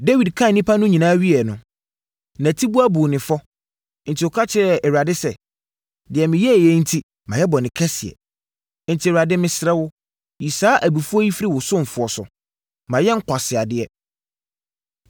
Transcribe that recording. Dawid kan nnipa no nyinaa wieeɛ no, nʼatiboa buu no fɔ, enti ɔka kyerɛɛ Awurade sɛ, “Deɛ meyɛeɛ yi enti, mayɛ bɔne kɛseɛ. Enti, Awurade, mesrɛ wo, yi saa afɔbuo yi firi wo ɔsomfoɔ so. Mayɛ nkwaseadeɛ.”